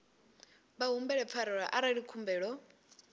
vha humbele pfarelo arali khumbelo